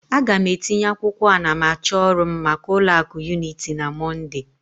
A ga m etinye akwụkwọ anamachọ ọrụ m maka ụlọ akụ Unity na Mọnde